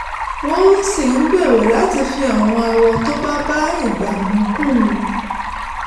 wọ́n sì ń gbèrò láti fi àwọn àwọ̀ tó bá bá ìgbà mu kún un